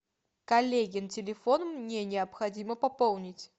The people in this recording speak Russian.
коллегин телефон мне необходимо пополнить